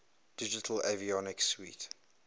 digital avionics suite